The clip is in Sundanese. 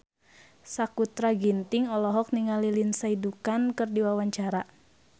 Sakutra Ginting olohok ningali Lindsay Ducan keur diwawancara